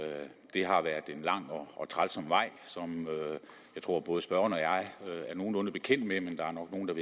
det har været en lang og trælsom vej som jeg tror at både spørgeren og jeg er nogenlunde bekendt med men der er nok nogle